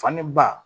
Fani ba